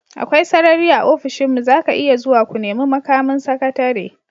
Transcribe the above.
Akwai sarari a ofishinmu, za ka iya zuwa ku nemi mukamin sakatare.